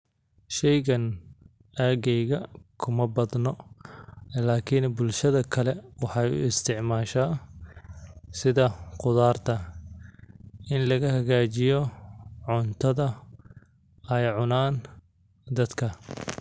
Sheygan ageyga kuma badno lakin bulshada kale maxee u isticmalan in laga hagajiyo cuntadha ee cunan.